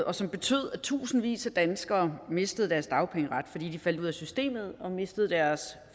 og som betød at tusindvis af danskere mistede deres dagpengeret fordi de faldt ud af systemet og mistede deres